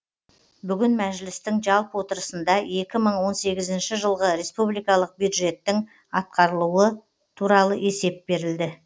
бүгін мәжілістің жалпы отырысында екі мың он сенізінші жылғы республикалық бюджеттің атқарылуы туралы есеп берілді